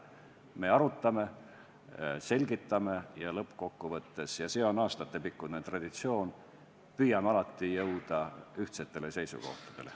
Me arutame, selgitame ja lõppkokkuvõttes – see on aastatepikkune traditsioon – püüame alati jõuda ühtsetele seisukohtadele.